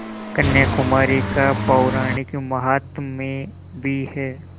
कन्याकुमारी का पौराणिक माहात्म्य भी है